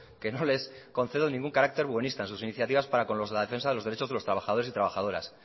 que no les concedo ningún carácter buenista en sus iniciativas para con los de la defensa de los derechos de los trabajadores y trabajadoras